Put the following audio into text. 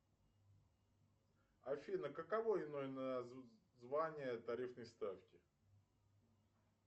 афина каково иное название тарифной ставки